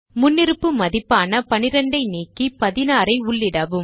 முன்னிருப்பு மதிப்பான 12 ஐ நீக்கி 16 ஐ உள்ளிடவும்